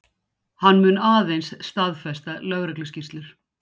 Hann mun aðeins staðfesta lögregluskýrslur